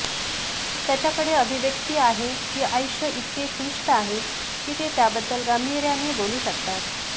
त्याच्याकडे अभिव्यक्ति आहे की आयुष्य इतके क्लिष्ट आहे की ते त्याबद्दल गांभीर्याने बोलू शकतात